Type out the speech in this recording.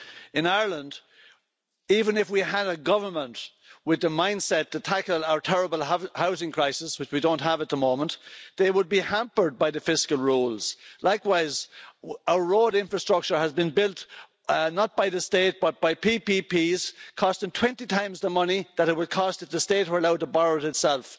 In Ireland, even if we had a government with the mindset to tackle our terrible housing crisis which we don't have at the moment, they would be hampered by the fiscal rules. Likewise, our road infrastructure has been built not by the state but by public private partnerships costing twenty times the money that it would cost if the state were allowed to borrow it itself.